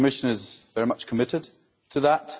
The Commission is very much committed to that.